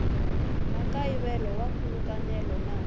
na nkayivelo wa nkhulukelano na